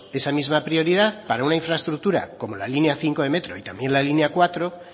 esa misma prioridad para una infraestructura como la línea cinco de metro y también la línea cuatro